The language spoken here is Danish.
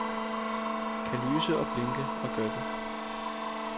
Kan lyse og blinke og gør det.